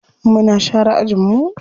Muna share ajin mu.